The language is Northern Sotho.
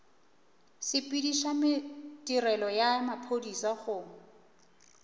sepediša tirelo ya maphodisa go